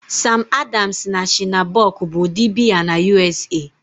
Sam Adams na Shiner Bock bụ ụdị biya na U.S.A